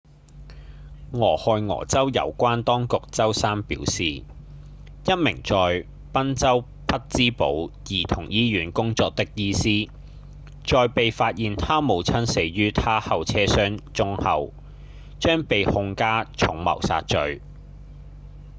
俄亥俄州有關當局週三表示一名在賓州匹玆堡兒童醫院工作的醫師在被發現她母親死於她後車箱中後將被控加重謀殺罪